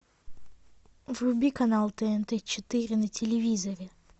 вруби канал тнт четыре на телевизоре